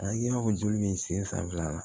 A i b'a fɔ joli bɛ sen san fila la